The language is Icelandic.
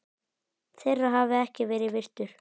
þeirra hafi ekki verið virtur.